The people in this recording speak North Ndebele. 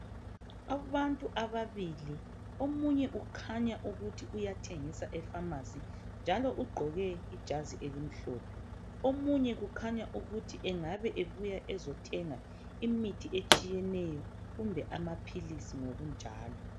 Abantu ababili omunye ukhanya ukuthi uyathengisa efamasi njalo ugqoke ijazi elimhlophe omunye engabe ebuye ukuzothenga imithi etshiyeneyo kumbe amaphilisi.